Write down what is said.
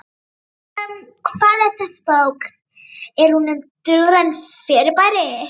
Um hvað er þessi bók, er hún um dulræn fyrirbæri?